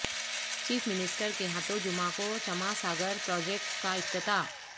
chief minister کے ہاتھوں جمعہ کو چماں ساگر پراجکٹ کا افتتاح